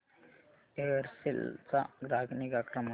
Aircel चा ग्राहक निगा क्रमांक